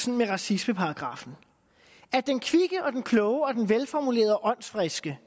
med racismeparagraffen at den kvikke og den kloge og den velformulerede og åndsfriske